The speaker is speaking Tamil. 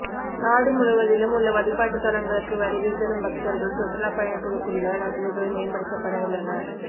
நாடு முழுவதிலும் உள்ள வழிபாட்டுத் தலங்களுக்கு வருகை தரும் பக்தர்கள் சுற்றுலா பயணிகளுக்குள்ள வசதிகள் மேம்படுத்தப்படவுள்ளன